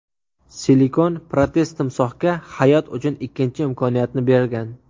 Silikon protez timsohga hayot uchun ikkinchi imkoniyatni bergan.